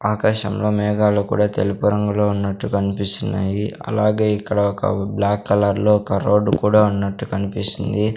ఆకాశంలో మేఘాలు కూడా తెలుపు రంగులో ఉన్నట్టు కన్పిస్తున్నాయి అలాగే ఇక్కడ ఒక బ్లాక్ కలర్లో ఒక రోడ్ కూడా ఉన్నట్టు కన్పిస్తుంది.